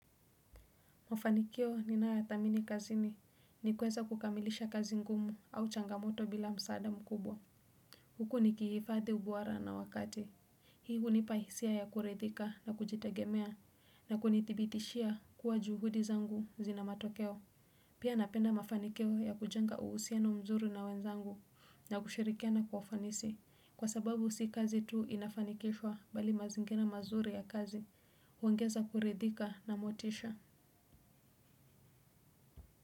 Mafanikio ninayoyathamini kazini ni kuweza kukamilisha kazi ngumu au changamoto bila msaada mkubwa. Huku nikihifadhi ubora na wakati hii hunipa hisia ya kuridhika na kujitegemea na kunitibitishia kuwa juhudi zangu zina matokeo. Pia napenda mafanikio ya kujenga uhusiano mzuri na wenzangu na kushirikiana kwa ufanisi kwa sababu si kazi tu inafanikishwa bali mazingira mazuri ya kazi huongeza kuridhika na motisha.